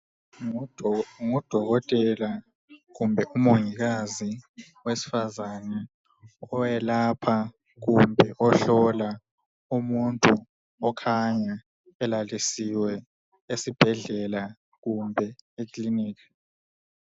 Ngudokotela kumbe umongikazi wesifazana , oyelapha kumbe ohlola umuntu okhanya elalisiwe esibhedlela kumbe ekiliniki.